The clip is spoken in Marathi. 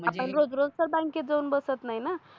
आपण रोज रोज तर बॅंकेत जावून बसत नाही न